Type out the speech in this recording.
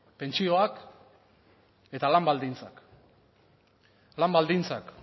pentsioak eta lan baldintzak lan baldintzak